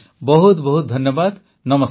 ବହୁତ ବହୁତ ଧନ୍ୟବାଦ ନମସ୍କାର